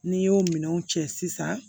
N'i y'o minɛnw cɛ sisan